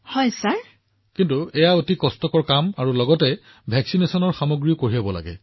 প্ৰধানমন্ত্ৰীঃ কিন্তু এদিনৰ কাৰণে এইটো এটা কঠিন কাম আৰু টীকাকৰণৰ সকলো সামগ্ৰী লৈ যোৱাটো